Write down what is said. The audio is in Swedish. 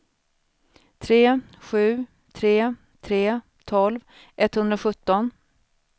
tre sju tre tre tolv etthundrasjutton